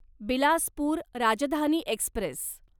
Bilaspur Rajdhani Express